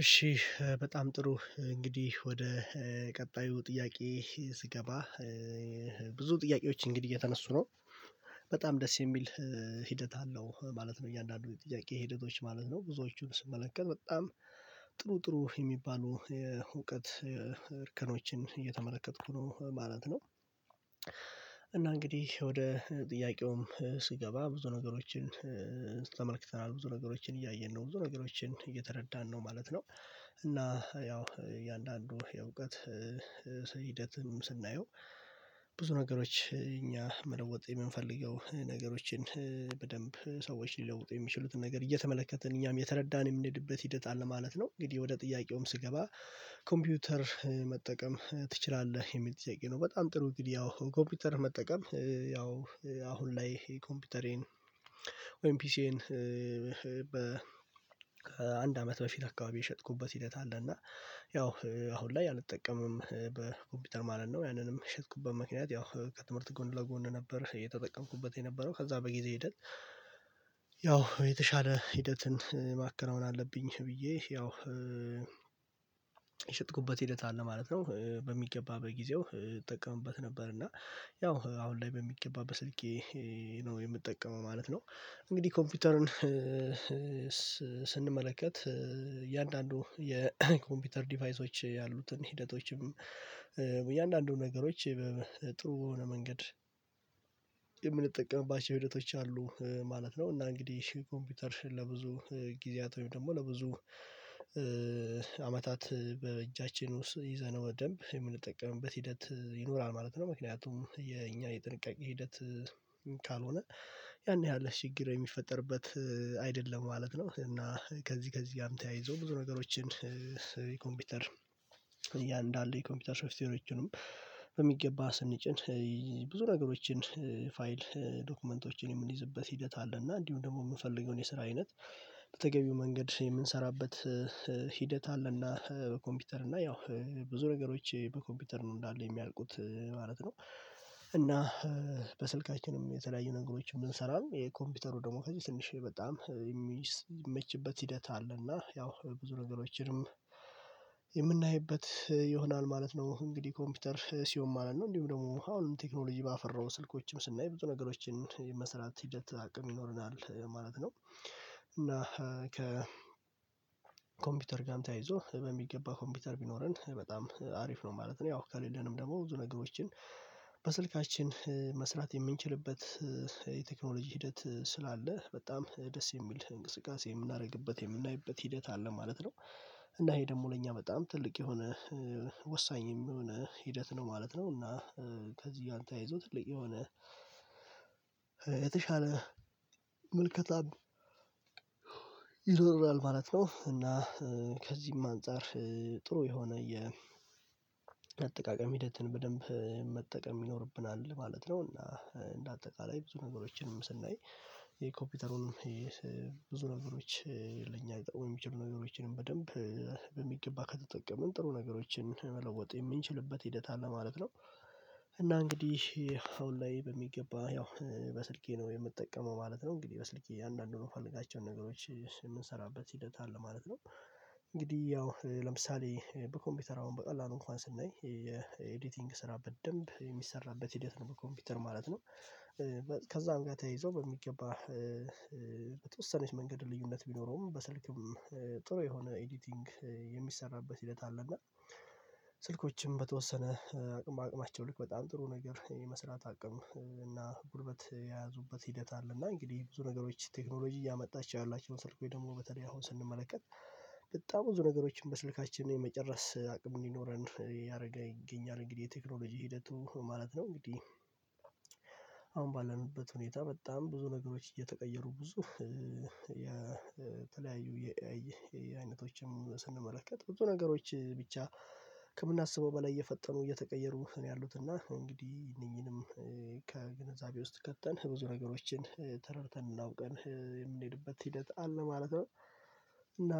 እሺ በጣም ጥሩ እንግዲህ ወደ ቀጣዩ ጥያቄ ስገባ ብዙ ጥያቄዎች እንግዲህ የተነሱ ነው በጣም ደስ የሚል ሂደት አለው ማለት ነው። እያንዳንዱ ጥያቄ ሂደቶች ማለት ነው። ብዙዎቹን ስመለከት በጣም ጥሩ ጥሩ የሚባሉ እውቀት እርከኖችን እየተመለከትኩ ነው ማለት ነው። እና እንግዲህ ወደ ጥያቄውም ስገባ ብዙ ነገሮችን ተመልክተናል ብዙ ነገሮችን እያየን ነው ብዙ ነገሮችን እየተረዳን ነው ማለት ነው እና ያው የእያንዳንዱ የእውቀት ሂደትም ስናየው፤ ብዙ ነገሮች እኛ መለወጥ የምንፈልገው ነገሮችን በደንብ ሰዎች ሊለውጡ የሚችሉትን ነገር እየተመለከትን እኛም የተረዳን የምንሄድበት ሂደትአለ ማለት ነው። እንግዲህ ወደ ጥያቄውም ስገባ ኮምፒውተር መጠቀም ትችላለህ? የሚል ጥያቄ ነው በጣም ጥሩ ግድ ያው ኮምፒውተር መጠቀም ያው አሁን ላይ ኮምፒውተሬን ወይም ፒሲዬን በ ከአንድ አመት በፊት አካባቢ የሸጥኩበት ሂደት አለ እና ያው አሁን ላይ አልጠቀምም። በኮምፒውተር ማለት ነው ያንንም የሸጥኩበት ምክንያት ያው ከትምህርት ጎን ለጎን ነበር የተጠቀምኩበት የነበረው ከዛ በጊዜ ሂደት ያው የተሻለ ሂደትን ማከናወን አለብኝ ብዬ ያው የሸጥኩበት ሂደት አለ ማለት ነው። በሚገባ በጊዜው እጠቀምበት ነበር እና ያው አሁን ላይ በሚገባ በስልኬ ነው የምጠቀመው ማለት ነው። እንግዲህ ኮምፒውተርን ስንመለከት እያንዳንዱ የኮምፒውተር ዲቫይሶች ያሉትን ሂደቶችም እያንዳንዱ ነገሮች ጥሩ የሆነ መንገድ የምንጠቀምባቸው ሂደቶች አሉ ማለት ነው። እና እንግዲህ እሺ ኮምፒውተር ለብዙ ጊዜያት ወይም ደግሞ ለብዙ አመታት በእጃችን ውስጥ ይዘን በደንብ የምንጠቀምበት ሂደት ይኖራል ማለት ነው። ምክንያቱም የኛ የጥንቃቄ ሂደት ካልሆነ ያን ያህል ችግር የሚፈጠርበት አይደለም ማለት ነው። እና ከዚህ ከዚህ ጋርም ተያይዞ ብዙ ነገሮችን ኮምፒውተር እያንዳለ የኮምፒውተር ሾፍትዌሮችንም በሚገባ ስንጭን ብዙ ነገሮችን፤ ፋይል፤ ዶክመንቶችን የምንይዝበት ሂደት አለ እና እንዲሁም ደግሞ የምንፈልገውን የስራ አይነት በተገቢው መንገድ የምንሰራበት ሂደት አለና በኮምፒውተር እና ያው ብዙ ነገሮች በኮምፒውተር ነው እንዳለ የሚያልቁት ማለት ነው እና በስልካችንም የተለያዩ ነገሮችንብንሰራም የኮምፒውተሩ ደግሞ ከዚህ ትንሽዬ በጣም የሚመችበት ሂደት አለ እና ያው ብዙ ነገሮችንም የምናይበት ይሆናል ማለት ነው፤ እንግዲህ ኮምፒውተር ሲውሆም አለን ነው እንዲሁም ደግሞ አሁንም ቴክኖሎጂ ባፈራው ስልኮችም ስናይ ብዙ ነገሮችን መስራት ሂደት አቅም ይኖረናል ማለት ነው እና ከኮምፒውተር ጋርም ተያይዞ በሚገባ ኮምፒውተር ቢኖረን በጣም አሪፍ ነው ማለት ነው። ያው ከሌለንም ደግሞ ብዙ ነገሮችን በስልካችን መስራት የምንችልበት የቴክኖሎጂ ሂደት ስላለ በጣም ደስ የሚል እንቅስቃሴ የምናደርግበት የምናይበት ሂደት አለ ማለት ነው። እና ይሄ ደግሞ ለእኛ በጣም ትልቅ የሆነ ወሳኝ የሚሆነን ሂደት ነው ማለት ነው እና ከዚህ ያንተ ተያይዞ ትልቅ የሆነ የተሻለ ምልከታም ይኖራል ማለት ነው እና ከዚህም አንፃር ጥሩ የሆነ የአጠቃቀም ሂደትን በደንብ መጠቀም ይኖርብናል ማለት ነው እና እንደ አጠቃላይ ብዙ ነገሮችንም ስናይ የኮፒውተሩን ብዙ ነገሮች ለኛ ወይም ብዙ ነገሮችንም በደንብ በሚገባ ከተጠቀምን ጥሩ ነገሮችን መለወጥ የምንችልበት ሂደት አለ ማለት ነው እና እንግዲህ አሁን ላይ በሚገባ ያው በስልኬ ነው የምጠቀመው ማለት ነው። እንግዲህ በስልኬ አያንዳንዱን ምፈልጋቸውን ነገሮች የምንሰራበት ሂደት አለ ማለት ነው። እንግዲህ ያው ለምሳሌ በኮምፒውተር አሁን በቀላሉ እንኳን ስናይ የኤዲቲንግ ስራ በደንብ የሚሰራበት ሂደት ነው በኮምፒውተር ማለት ነው ከዛም ጋር ተይዞ በሚገባ በተወሰነች መንገድ ልዩነት ቢኖረውም በስልክም ጥሩ የሆነ ኤዲቲንግ የሚሰራበት ሂደት አለ እና ስልኮችም በተወሰነ አቅም በአቅማቸው ልክ በጣም ጥሩ ነገር የመስራት አቅም እና ጉልበት የያዙበት ሂደት አለ እና እንግዲህ ብዙ ነገሮች ቴክኖሎጂ እያመጣች ያላችሁ ስልኩን ደግሞ በተለይ አሁን ስንመለከት በጣም ብዙ ነገሮችን በስልካችን የመጨረስ አቅም እንዲኖረን እያደረገ ይገኛል እንግዲህ የቴክኖሎጂ ሂደቱ ማለት ነው እንግዲህ አሁን ባለንበት ሁኔታ በጣም ብዙ ነገሮች እየተቀየሩ ብዙ የተለያዩ የአይነቶችም ስንመለከት ብዙ ነገሮች ብቻ ከምናስበው በላይ እየፈጠኑ እየተቀየሩ ነው ያሉት እና እንግዲህ እነኚህንም ከግንዛቤ ውስጥ ከተን ብዙ ነገሮችን ተረድተን እናውቃለን የምንሄድበት ሂደት አለ ማለት ነው። እና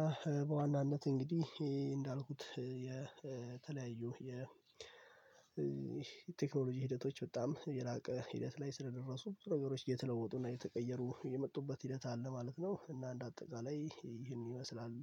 በዋናነት እንግዲህ እንዳልኩት የተለያዩ የ የቴክኖሎጂ ሂደቶች በጣም የላቀ ሂደት ላይ ስለደረሱ ብዙ ነገሮች የተለወጡና የተቀየሩ የመጡበት ሂደት አለ ማለት ነው። እና እንደ አጠቃላይ ይህን ይመስላል